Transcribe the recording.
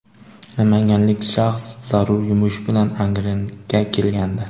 Namanganlik shaxs zarur yumush bilan Angrenga kelgandi.